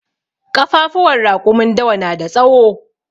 Ƙafafuwan raƙumin dawa na da tsawo.